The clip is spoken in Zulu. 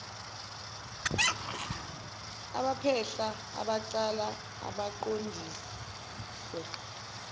abaphehla abacala aqondiswe